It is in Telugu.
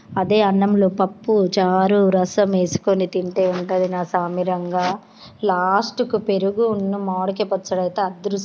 తింటావుంటాయి అన్నం పప్పు చారు రసం వేసుకుని తింటే ఉంటది నా సామిరంగా లాస్టుకు పెరుగు అన్నం మామిడికాయ పచ్చడైతే--